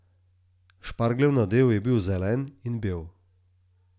Špargljev nadev je bil zelen in bel.